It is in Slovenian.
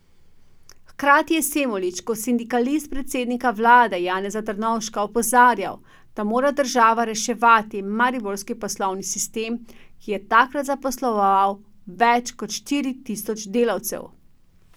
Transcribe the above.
Hkrati je Semolič kot sindikalist predsednika vlade Janeza Drnovška opozarjal, da mora država reševati mariborski poslovni sistem, ki je takrat zaposloval več kot štiri tisoč delavcev.